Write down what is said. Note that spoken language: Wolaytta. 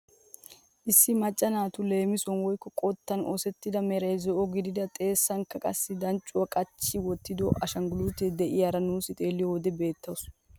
Issi macca naatu leemisuwaan woykko qottan oosettida meran zo'o gidida xeessanikka qassi danccuwaa qachcha wottida ashangulutiyaa de'iyaara nuusi xeelliyoo wode beettawus.